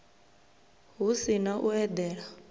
hu si na u eḓana